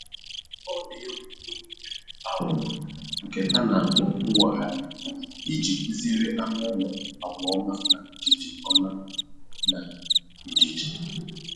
Ọ na-egwu egwuregwu aghụghọ nke a na-akpọ mwogharị iji kụziere anụ ụlọ agwa ọma na ndidi ọma na ndidi